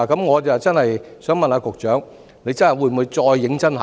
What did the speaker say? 我想問局長，政府會否再次認真考慮？